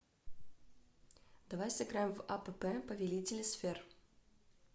давай сыграем в апп повелители сфер